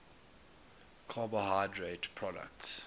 final carbohydrate products